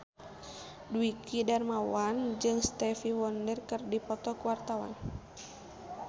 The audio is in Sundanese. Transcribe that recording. Dwiki Darmawan jeung Stevie Wonder keur dipoto ku wartawan